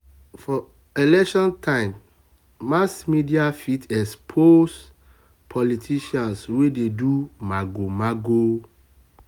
for election time mass media fit expose politicians wey dey do mago-mago.